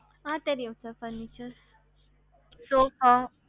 அ sir தெரியும் furniture